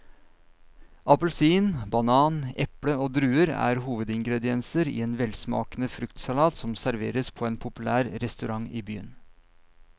Appelsin, banan, eple og druer er hovedingredienser i en velsmakende fruktsalat som serveres på en populær restaurant i byen.